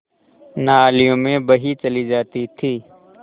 नालियों में बही चली जाती थी